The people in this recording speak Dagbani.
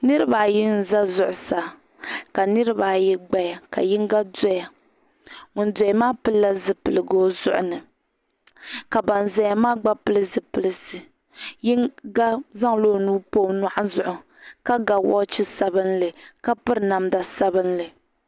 Niriba ayi n-za zuɣusaa ka niriba ayi gbaya ka yiŋga doya ŋun doya maa pilila zipiligu o zuɣu ni ka ban zaya maa gba pili zipilisi yiŋga zaŋla o nuu m-pa o nyuɣua zuɣu ka ga waache sabinli ka piri namda sabinli.